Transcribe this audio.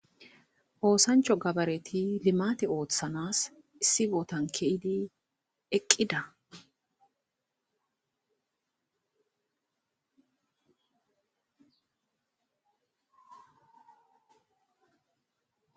oosancho gabareti limate oothanas issi bootankeydi eqqida